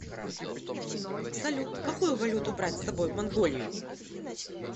салют какую валюту брать с собой в монголию